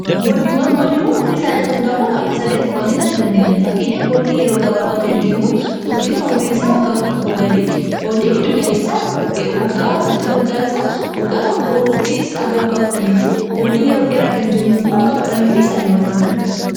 boondiiwwan omriisaa irratti hundaa'uda bakka sadiitti qoonni tadu dandeenya fakkeenya boondii yeroo gabaabaa kan jennu tortiin omriiisaa tk gadi boondii idduugaleessawaggaa tortiin waggaa isaa waggaa tkko aga waga 1dtti boondii yeroo dheraa kan jennuu immoo waggaa 1dnifi sali'ol ta'uu danda'a